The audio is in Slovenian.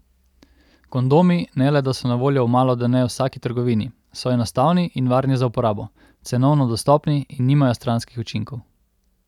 Kondomi, ne le da so na voljo v malodane v vsaki trgovini, so enostavni in varni za uporabo, cenovno dostopni in nimajo stranskih učinkov.